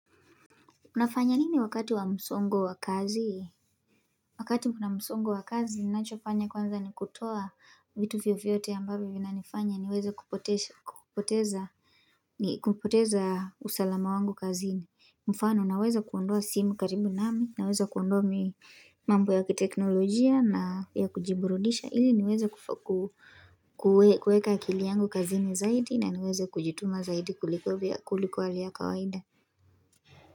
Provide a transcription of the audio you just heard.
Munafanya nini wakati wa msongo wa kazi? Wakati muna msongo wa kazi ninachofanya kwanza ni kutoa vitu fyo fyote ya mbavyo vina nifanya niweze kupoteza usalama wangu kazini. Mfano naweza kuondoa simu karibu nami naweze kuondoa mi mambo ya kiteknolojia na ya kujiburudisha ili niweze kuweka akili yangu kazini zaidi na niweze kujituma zaidi kuliko hali ya kawaida.